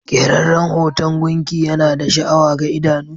Keraren hoton gunki Yana da sha'awa ga idano.